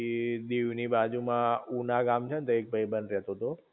એ દીવ ની બાજુ માં ઉના ગામ છે ને તઈ ભાઈબંધ રેતો તો